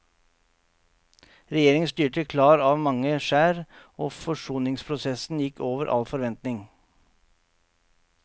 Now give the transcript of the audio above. Regjeringen styrte klar av mange skjær, og forsoningsprosessen gikk over all forventning.